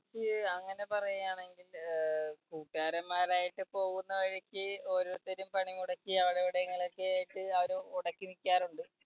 എനിക്ക് അങ്ങനെ പറയുകയാണെങ്കില്‍ അഹ് കൂട്ടുകാരന്മാരായിട്ട് പോകുന്ന വഴിക്ക് ഓരോരുത്തരും പണിമുടക്കി അവിടെ ഇവിടെ എങ്കിലും ഒക്കെ ആയിട്ട് അവര് ഉടക്കി നിക്കാറുണ്ട്.